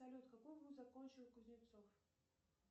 салют какой вуз закончил кузнецов